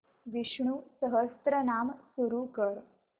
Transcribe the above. विष्णु सहस्त्रनाम सुरू कर